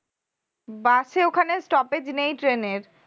bus এ ওখানে stoppage নেই train এর